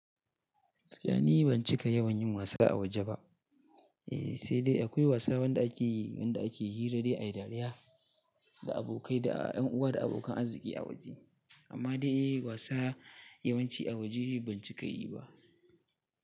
Gaskiya ni ban cika yawan yin wasa a waje ba. Eh, sai dai akwai wasa wanda ake yi, wanda ake yi wanda hira dai ai dariya da abokai da yan uwa da abokan arziki a waje. Amma dai wasa yawanci a waje ban cika yi ba.